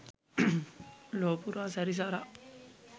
ලොවපුරා සැරිසරා